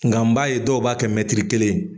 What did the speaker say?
Nka n b'a ye dɔw b'a kɛ kelen ye.